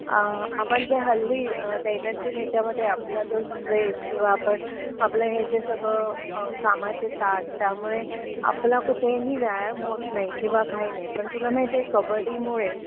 अ आपण जे हल्ली दैनंदिन ह्यांच्यामध्ये आपला जो स्ट्रेस किंवा आपण आपलं हे जे सगळं कामाचे तास त्यामुळे आपला कुठेही व्यायाम होत नाही किंवा काही नाही पण तुला माहितीए कब्बडीमुळे